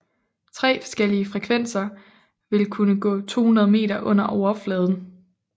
Tre forskellige frekvenser vil kunne gå 200 meter under overfladen